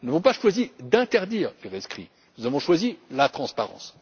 Nous n'avons pas choisi d'interdire les rescrits, nous avons choisi la transparence.